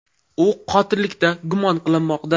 U qotillikda gumon qilinmoqda.